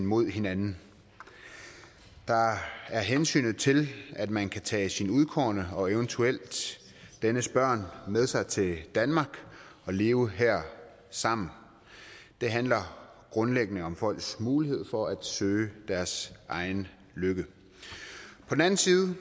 mod hinanden der er er hensynet til at man kan tage sin udkårne og eventuelt dennes børn med sig til danmark og leve her sammen det handler grundlæggende om folks mulighed for at søge deres egen lykke på den anden side